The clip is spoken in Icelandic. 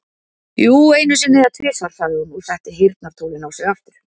Jú, einu sinni eða tvisvar, sagði hún og setti heyrnartólin á sig aftur.